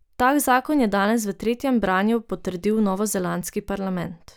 Tak zakon je danes v tretjem branju potrdil novozelandski parlament.